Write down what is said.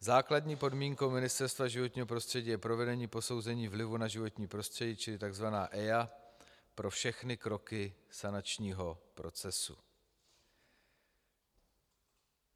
Základní podmínkou Ministerstva životního prostředí je provedení posouzení vlivu na životní prostředí, čili tzv. EIA, pro všechny kroky sanačního procesu.